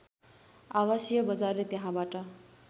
आवासीय बजारले त्यहाँबाट